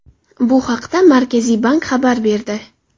Bu haqda Markaziy bank xabar berdi .